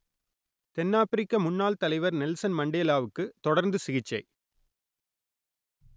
தென்னாப்பிரிக்க முன்னாள் தலைவர் நெல்சன் மண்டேலாவுக்கு தொடர்ந்து சிகிச்சை